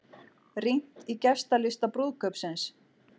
Rýnt í gestalista brúðkaupsins